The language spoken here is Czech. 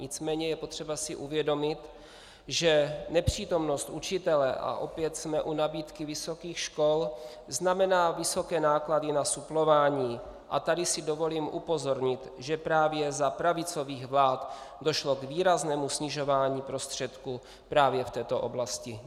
Nicméně je potřeba si uvědomit, že nepřítomnost učitele, a opět jsme u nabídky vysokých škol, znamená vysoké náklady na suplování, a tady si dovolím upozornit, že právě za pravicových vlád došlo k výraznému snižování prostředků právě v této oblasti.